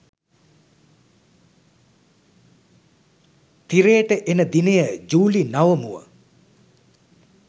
තිරයට එන දිනය ජුලි නවමුව